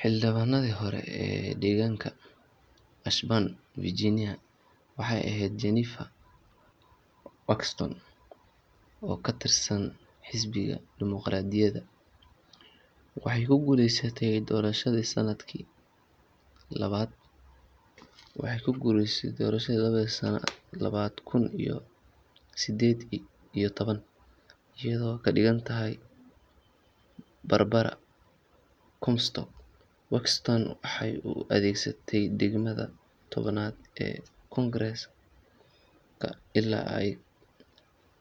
Xildhibaanadii hore ee deegaanka Ashburn, Virginia, waxay ahayd Jennifer Wexton, oo ka tirsan xisbiga Dimuqraadiga. Waxay ku guuleysatay doorashadii sanadkii laba kun iyo siddeed iyo toban, iyadoo ka adkaatay Barbara Comstock. Wexton waxay u adeegaysay degmada tobnaad ee Congress-ka ilaa ay